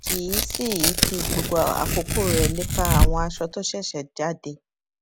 kì í sì í fi gbogbo àkókò rè lépa àwọn aṣọ tó ṣèṣè jáde